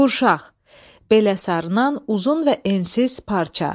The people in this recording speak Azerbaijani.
Qurşaq, belə sarınan uzun və ensiz parça.